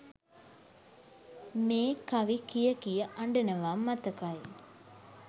මේ කවි කිය කිය අඬනවා මතකයි